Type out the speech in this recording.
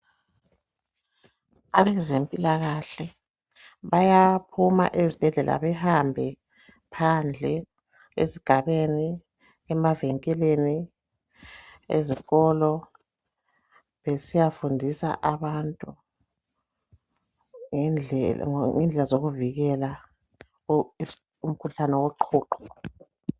Abezempilakahle, bayaphuma ezibhedlela behambe phandle ezigabeni, emavinkilini, ezikolo besiyafundisa abantu ngendlela zokuvikela umkhuhlane woqhuqho.